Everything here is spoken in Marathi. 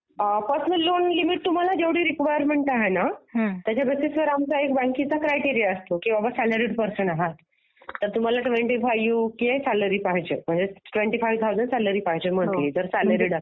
हां पर्सनल लोन लिमिट तुम्हा जेव्हढी रिक्वायरमेंट आहे ना त्याच्या बेसिस वॉर आमचा एक बँकेचा क्रायटेरिया असतो की बाबा सॅलरीड पर्सन आहे, तर तुम्हाला ट्वेन्टी फाईव्ह के सॅलरी पाहिजे ट्वेन्टी फाईव्ह थाऊसंड सॅलरी पाहिजे मंथली जर सॅलरीड असाल तर